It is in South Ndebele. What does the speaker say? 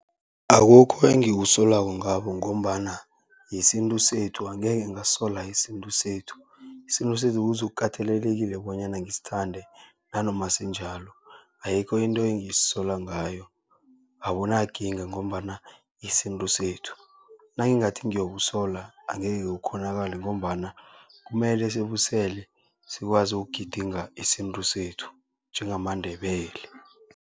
Akukho engikusolako ngabo, ngombana yisintu sethu angekhe ngasola isintu sethu. Isintu sethu kuzokukatelelekile bonyana ngisithande nanoma sinjalo, ayikho into engiyisolako ngayo, abunakinga ngombana isintu sethu. Nangingathi ngiyokusolz angekhe kukghonakale, ngombana kumele sibusele sikwazi ukugidinga isintu sethu njengamaNdebele.